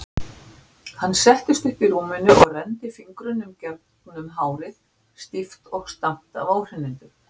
Hann settist upp í rúminu og renndi fingrunum gegnum hárið, stíft og stamt af óhreinindum.